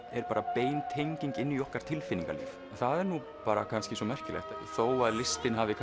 bein tenging inn í okkar tilfinningalíf það er kannski merkilegt þó að listin hafi